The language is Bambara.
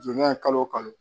Jo ye kalo o kalo